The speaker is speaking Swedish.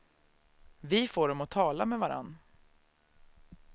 Vi får dem att tala med varandra.